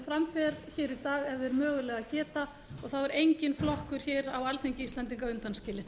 fram fer í dag ef þeir mögulega geta og þá er enginn flokkur á alþingi íslendinga undanskilinn